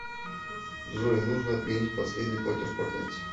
джой нужно отменить последний платеж по карте